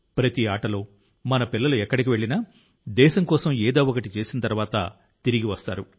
ప్రతి ఆటలో మన పిల్లలు ఎక్కడికి వెళ్లినా దేశం కోసం ఏదో ఒకటి చేసిన తర్వాత తిరిగి వస్తారు